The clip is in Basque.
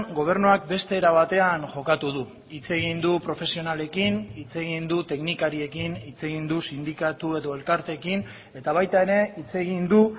gobernuak beste era batean jokatu du hitz egin du profesionalekin hitz egin du teknikariekin hitz egin du sindikatu edo elkarteekin eta baita ere hitz egin du